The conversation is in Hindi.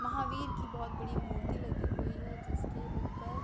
महावीर की बोहोत बड़ी मूर्ति लगी हुई है जिसके ऊपर --